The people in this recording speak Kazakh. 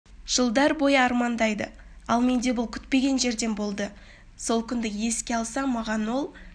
жылдар бойы армандайды ал менде бұл күтпеген жерден болды сол күнді еске алсам маған ол